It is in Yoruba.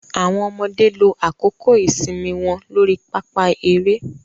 Awọn ọmọde lo àkókò ìsinmi wọn lórí pápá eré